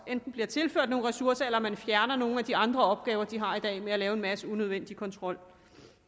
enten bliver tilført nogle ressourcer eller man fjerner nogle af de andre opgaver de har i dag med at lave en masse unødvendig kontrol